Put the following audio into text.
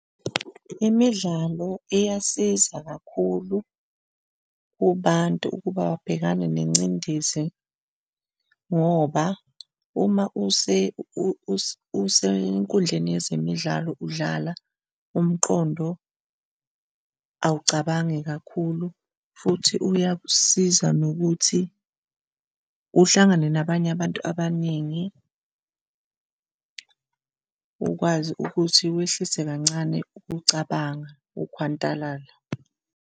Imidlalo iyasiza kakhulu kubantu ukuba babhekane nengcindezi ngoba uma usenkundleni yezemidlalo udlala, umqondo awucabangi kakhulu futhi uyasiza nokuthi uhlangane nabanye abantu abaningi ukwazi ukuthi wehlise kancane ukucabanga ukhwantalala.